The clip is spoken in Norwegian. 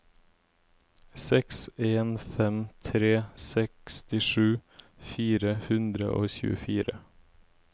seks en fem tre sekstisju fire hundre og tjuefire